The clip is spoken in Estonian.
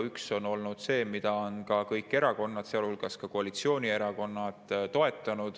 Üks on olnud see, mida on toetanud kõik erakonnad, sealhulgas koalitsioonierakonnad.